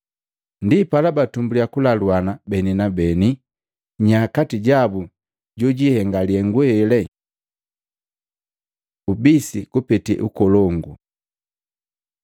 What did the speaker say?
Ndipala batumbuliya kulaluana beni na beni, nya kati jabu jojihenga lihengu hele. Ubisi kupete ukolongu